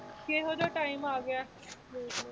ਕਿਹੋ ਜਿਹਾ time ਆ ਗਿਆ ਹੈ ਦੇਖ ਲਓ।